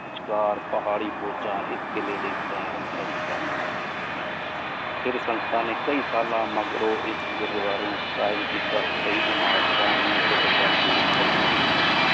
ਵਿਚਕਾਰ ਪਹਾੜੀ ਫੌਜਾਂ ਇਸ ਕੀਲੀ ਦੇ ਵਾਸਤੇ ਆਇਆ। ਫਿਰ ਸੰਗਤਾਂ ਨੇ ਕਈ ਸਾਲਾ ਮਗਰੋਂ ਇਸ ਗੁਰਦੁਆਰਿਓਂ ਕਾਇਲ ਕੀਤਾ ਕਯੀ ਇਮਾਰਤਾਂ ਉਨੀ ਸੋ ਪਚਾਸੀ ਵਿਚ ਬਣਾਇਆ ਗਈਆਂ।